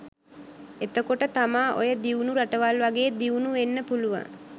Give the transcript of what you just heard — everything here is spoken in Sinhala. එතකොට තමා ඔය දිවුණු රටවල් වගේ දිවුණු වෙන්න පුළුවන්